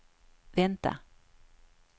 vänta